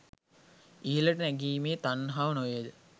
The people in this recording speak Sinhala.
ඉහළට නැගීමේ තණ්හාව නොවේද?